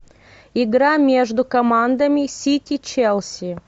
игра между командами сити челси